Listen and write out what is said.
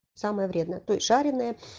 самая вредная то есть жареное